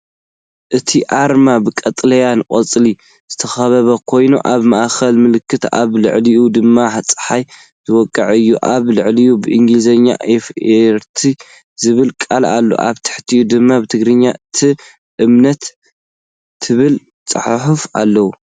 እቲ ኣርማ ብቀጠልያ ቆጽሊ ዝተኸበበ ኮይኑ፡ ኣብ ማእከሉ ምልክት ኣብ ልዕሊኡ ድማ ጸሓይ ዝወቕዖ እዩ። ኣብ ላዕሊ ብእንግሊዝኛ "ኢ ፎ ር ት" ዝብል ቃል ኣሎ፡ ኣብ ታሕቲ ድማ ብትግርኛ "ት እ ም ት" ዝብል ጽሑፍ ኣሎ።